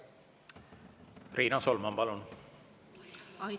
Riina Solman, palun!